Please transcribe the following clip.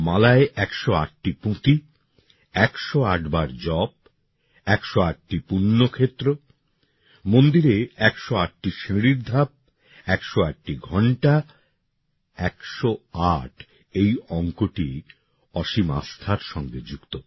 মালায় একশো আটটি পুঁতি ১০৮ বার জপ ১০৮টি পুণ্য ক্ষেত্র মন্দিরে ১০৮টি সিঁড়ির ধাপ ১০৮টি ঘন্টা ১০৮ এই অঙ্কটি অসীম আস্থার সঙ্গে যুক্ত